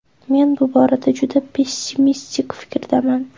Men bu borada juda pessimistik fikrdaman.